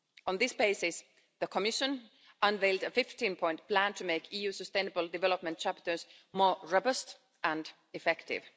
On this basis, the Commission unveiled a 15-point plan to make the EU sustainable development chapters more robust and effective.